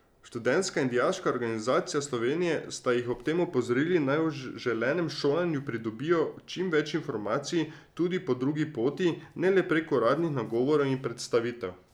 Študentska in Dijaška organizacija Slovenije sta jih ob tem opozorili, naj o želenem šolanju pridobijo čim več informacij tudi po drugi poti, ne le prek uradnih nagovorov in predstavitev.